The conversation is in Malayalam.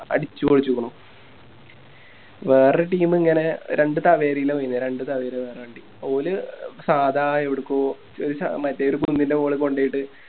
അടിച്ച് പൊളിച്ചിക്കുന്നു വേറൊരു Team ഇങ്ങനെ രണ്ട് വണ്ടില്ലേ രണ്ട് വണ്ടി ഓല് സാധാ എവടുക്കോ മറ്റേ ഒരു കുന്നിൻറെ മോളിൽ കൊണ്ടോയിട്ട്